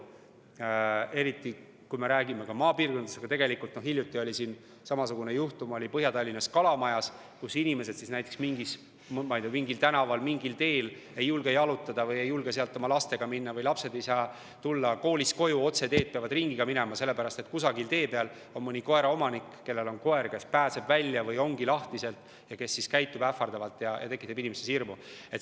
Eriti juhtub seda maapiirkondades, aga tegelikult hiljuti oli samasugune juhtum Põhja-Tallinnas Kalamajas, kus inimesed ei julge mingil tänaval, mingil teel jalutada või ei julge sinna oma lastega minna või lapsed ei saa koolist koju tulla otseteed, peavad ringiga minema, sellepärast et kusagil tee peal on mõni koeraomanik, kelle koer pääseb välja või ongi lahtiselt ja käitub ähvardavalt ja tekitab inimestes hirmu.